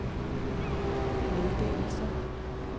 meddelelser